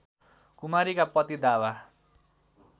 कुमारीका पति दावा